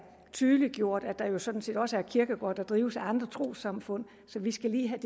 tydeliggjort at der jo sådan set også er kirkegårde der drives af andre trossamfund så vi skal lige have